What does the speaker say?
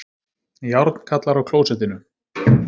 Járnkarlar á klósettinu